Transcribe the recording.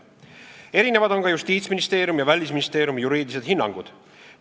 Erinevad on ka Justiitsministeeriumi ja Välisministeeriumi juriidilised hinnangud.